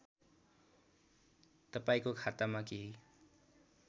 तपाईँको खातामा केही